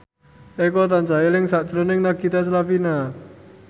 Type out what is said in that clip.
Eko tansah eling sakjroning Nagita Slavina